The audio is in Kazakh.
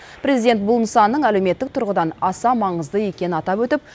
президент бұл нысанның әлеуметтік тұрғыдан аса маңызды екенін атап өтіп